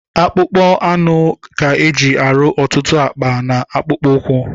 Akpụkpọ anụ ka eji arụ ọtụtụ akpa, na akpụkpọ ụkwụ